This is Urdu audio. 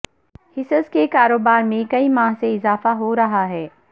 حصص کے کاروبار میں کئی ماہ سے اضافہ ہو رہا ہے